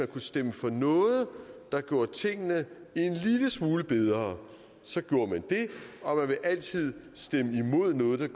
kunne stemme for noget der gjorde tingene en lille smule bedre og at man altid stemme imod noget der